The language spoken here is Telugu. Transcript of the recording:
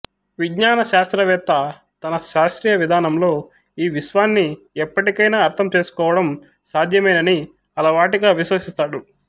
విజ్ఞాన శాస్త్రవేత్త తన శాస్త్రీయ విధానంలో ఈ విశ్వాన్ని ఎప్పటికైనా అర్థం చేసుకోవడాం సాధ్యమేనని అలవాటిగా విశ్వసిస్తాడు